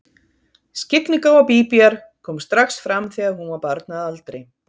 Skyggnigáfa Bíbíar kom strax fram þegar hún var barn að aldri.